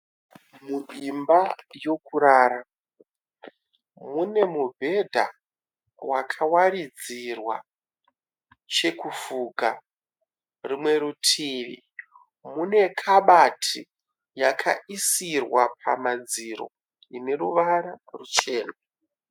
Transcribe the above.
Muimba yekurara, mune mubhedha wakawaridzirwa chekufuka. Rumwe rutivi mune kabati yakaisirwa pamadziro ine ruvara ruchena.